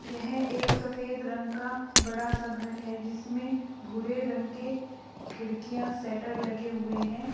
यह एक सफेद रंग का बड़ा सा घर है जिसमें भूरे रंग के खिड़कियां सटर लगे हुए हैं।